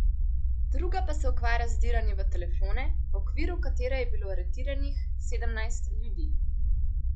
Druga pa se ukvarja z vdiranjem v telefone, v okviru katere je bilo aretiranih sedemnajst ljudi.